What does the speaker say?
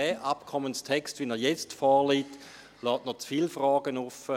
Der Abkommenstext, wie er jetzt vorliegt, lasse aber noch zu viele Fragen offen.